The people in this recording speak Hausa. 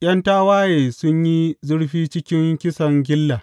’Yan tawaye sun yi zurfi cikin kisan gilla.